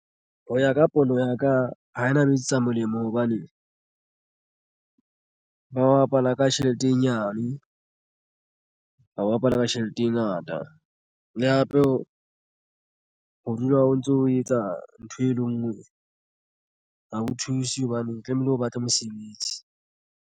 Ho ya ka pono ya ka ha ena ba etsetsa molemo hobane ba bapala ka tjhelete e nyane ba bapala ka tjheleteng ngata le hape ho ho dula o ntso o etsa ntho e le ngwe. Ha ho thuse hobane tlamehile o batla mosebetsi.